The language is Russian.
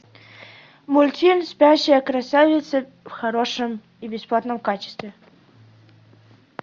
мультфильм спящая красавица в хорошем и бесплатном качестве